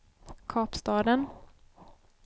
Kapstaden